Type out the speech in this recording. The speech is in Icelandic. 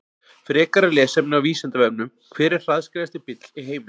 Frekara lesefni á Vísindavefnum: Hver er hraðskreiðasti bíll í heimi?